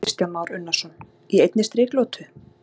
Kristján Már Unnarsson: Í einni striklotu?